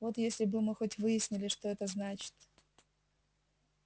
вот если бы мы хоть выяснили что значит